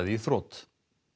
í þrot